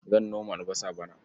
Zan noma albasa bana.